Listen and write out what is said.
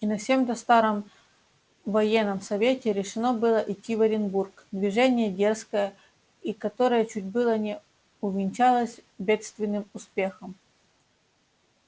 и на сем-то странном военном совете решено было идти к оренбург движение дерзкое и которое чуть было не увенчалось бедственным успехом